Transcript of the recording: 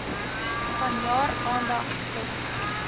vanjaar aandag skenk